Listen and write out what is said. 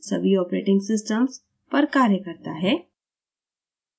सभी operating systems operating systems पर कार्य करता है